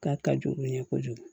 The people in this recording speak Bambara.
K'a ka jugu u ye kojugu